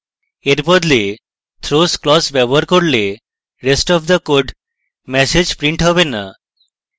এর বদলে throws clause ব্যবহার করলে rest of the code message printed হবে না